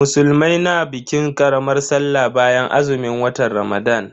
Musulmai na bikin karamar Sallah bayan azumin watan Ramadan.